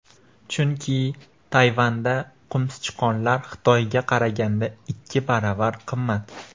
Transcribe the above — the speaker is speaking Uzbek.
Chunki Tayvanda qumsichqonlar Xitoyga qaraganda ikki baravar qimmat.